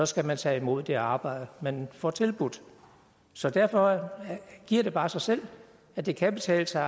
skal man tage imod det arbejde man får tilbudt så derfor giver det bare sig selv at det kan betale sig